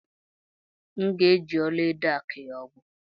Ee, M ga-eji ọlaedo akụ ya ugwo.